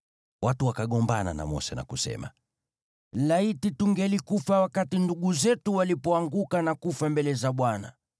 Watu wakagombana na Mose, na kusema, “Laiti tungelikufa wakati ndugu zetu walipoanguka na kufa mbele za Bwana !